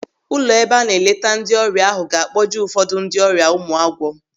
Ụlọ ebe a na-eleta ndị ọrịa ahụ ga-akpọje ụfọdụ ndị ọrịa Ụmụagwọ.